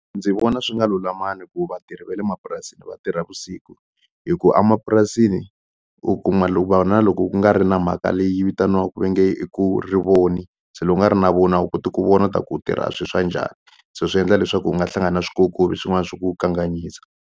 Ndzi vona swi nga lulamangi ku vatirhi va le mapurasini va tirha vusiku hi ku a mapurasini u kuma na loko ku nga ri na mhaka leyi vitaniwaku va nge i ku rivoni se loko u nga ri na voni a wu koti ku vona ta ku u tirha swi swa njhani so swi endla leswaku u nga hlangana na swikokovi swin'wana swi ku kanganyisa.